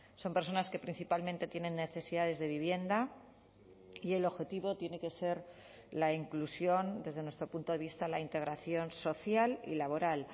son personas que principalmente tienen necesidades de vivienda y el objetivo tiene que ser la inclusión desde nuestro punto de vista la integración social y laboral